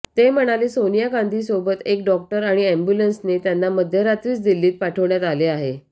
ते म्हणाले सोनिया गांधींसोबत एक डॉक्टर आणि अँब्युलन्सने त्यांना मध्यरात्रीच दिल्लीत पाठवण्यात आले आहे